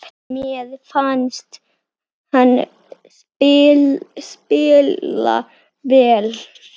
Mér fannst hann spila vel.